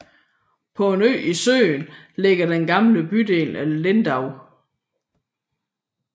PÅ en ø i søen ligger den gamle bydel af Lindau